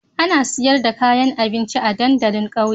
Ana sayar da kayan abinci a dandalin ƙauye